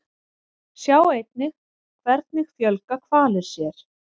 Sjá einnig Hvernig fjölga hvalir sér?